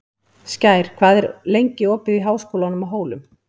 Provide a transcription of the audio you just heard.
Skær, hvað er lengi opið í Háskólanum á Hólum?